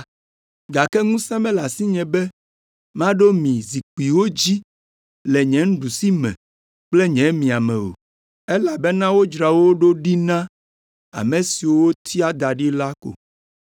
gake ŋusẽ mele asinye be maɖo mi zikpuiwo dzi le nye nuɖusime kple nye miame o, elabena wodzra wo ɖo ɖi na ame siwo wotia da ɖi la ko.”